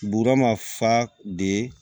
Buura ma fa de